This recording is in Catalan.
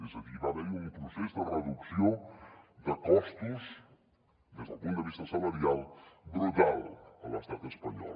és a dir va haver hi un procés de reducció de costos des del punt de vista salarial brutal a l’estat espanyol